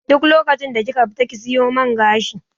Duk lokacin da kika fita ki siyo man gashi